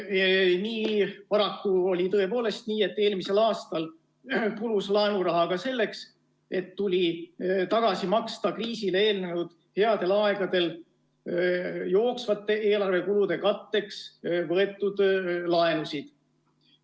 Seetõttu paraku oli tõepoolest nii, et eelmisel aastal kulus laenuraha ka selleks, et tuli tagasi maksta kriisile eelnenud headel aegadel jooksvate eelarvekulude katteks võetud laenusid.